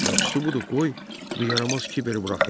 Yaxşısı budur, qoy bu yaramaz Kiberi buraxım.